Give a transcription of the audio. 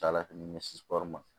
Ca ala fɛ ni misiw ma